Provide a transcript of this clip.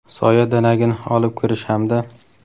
soya danagini olib kirish hamda;.